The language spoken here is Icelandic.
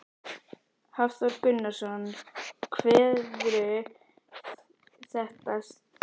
Hafþór Gunnarsson: Kveðurðu þetta starf með söknuði?